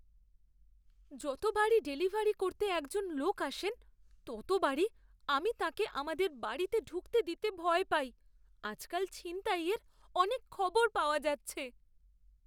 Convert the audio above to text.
যতবারই ডেলিভারি করতে একজন লোক আসেন, ততবারই আমি তাঁকে আমাদের বাড়িতে ঢুকতে দিতে ভয় পাই। আজকাল ছিনতাইয়ের অনেক খবর পাওয়া যাচ্ছে।